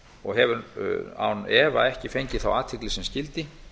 og hefur án efa ekki fengið þá athygli sem skyldi